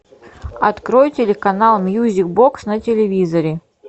открой телеканал мьюзик бокс на телевизоре